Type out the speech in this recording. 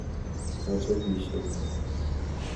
Kachopishei ng'o?